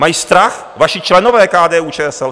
Mají strach vaši členové KDU-ČSL.